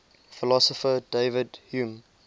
philosopher david hume